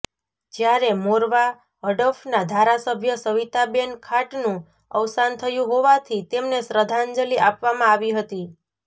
જ્યારે મોરવા હડફના ધારાસભ્ય સવિતાબેન ખાંટનું અવસાન થયું હોવાથી તેમને શ્રદ્ધાંજલિ આપવામાં આવી હતી